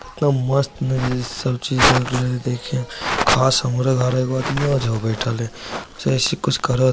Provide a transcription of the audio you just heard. मस्त चे करवाते साब चीज हे। जैसे कुछ करत